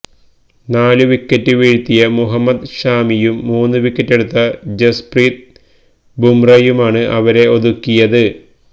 നാലു വിക്കറ്റ് വീഴ്ത്തിയ മുഹമ്മദ് ഷാമിയും മൂന്നു വിക്കറ്റെടുത്ത ജസ്പ്രീത് ബുംറയുമാണ് അവരെ ഒതുക്കിയത്